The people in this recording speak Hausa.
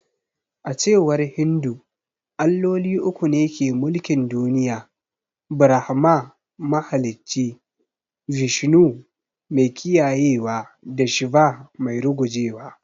A cewar Hindu, Alloli uku ne ke mulkin duniya. Brahma: mahalicci; Vishnu: mai kiyayewa da Shiva: mai rugujewa.